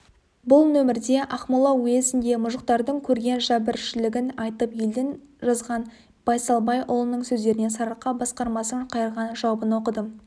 бұл нөмірде ақмола уезінде мұжықтардың көрген жәбіршілігін айтып елден жазған байсалбайұлының сөздеріне сарыарқа басқармасының қайырған жауабын оқыдым